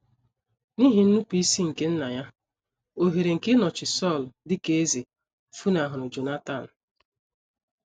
N’ihi nnupụisi nke nna ya, ohere nke ịnọchi Sọl dị ka eze funahụrụ Jonatan.